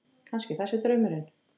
Kannski það sé draumurinn.